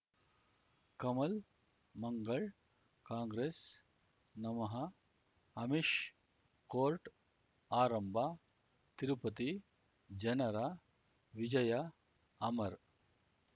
Kamal Mangal Congress ನಮಃ Amish court ಆರಂಭ ತಿರುಪತಿ ಜನರ ವಿಜಯ ಅಮರ್